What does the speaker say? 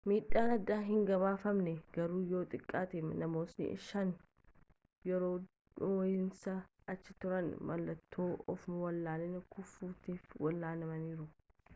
miidhaan addaa hin gabaafamne garuu yoo xiqqaate namootni shan yeroo dho'iinsaatti achi turan mallattoo ofwallaalanii-kufuutiif wal'aanamaniru